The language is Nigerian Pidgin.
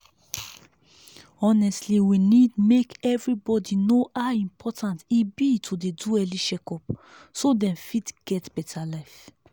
honestly we need make everybody know how important e be to do early check-up so dem fit get better life.